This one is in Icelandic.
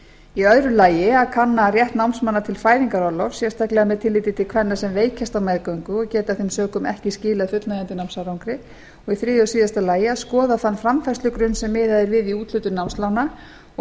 engu að síður annars að kanna rétt námsmanna til fæðingarorlofs sérstaklega með tilliti til kvenna sem veikjast á meðgöngu og geta af þeim sökum ekki skilað fullnægjandi námsárangri þriðja að skoða þann framfærslugrunn sem miðað er við í úthlutun námslána og